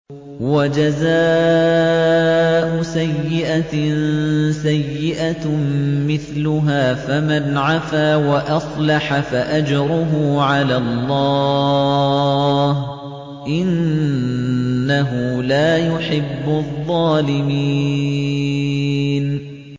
وَجَزَاءُ سَيِّئَةٍ سَيِّئَةٌ مِّثْلُهَا ۖ فَمَنْ عَفَا وَأَصْلَحَ فَأَجْرُهُ عَلَى اللَّهِ ۚ إِنَّهُ لَا يُحِبُّ الظَّالِمِينَ